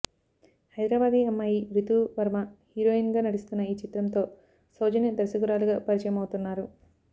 హైదరాబాదీ అమ్మాయి రీతూ వర్మ హీరోయిన్ గా నటిస్తున్న ఈ చిత్రంతో సౌజన్య దర్శకురాలిగా పరిచయమవుతున్నారు